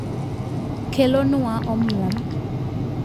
kelo nwa omuom